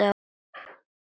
Sérðu nokkuð eftir því?